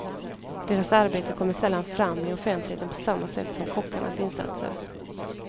Deras arbete kommer sällan fram i offentligheten på samma sätt som kockarnas insatser.